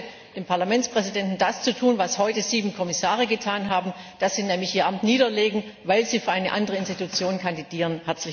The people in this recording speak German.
Ich rate dem Parlamentspräsidenten, das zu tun, was heute sieben Kommissare getan haben, dass sie nämlich ihr Amt niederlegen, weil sie für eine andere Institution kandidieren.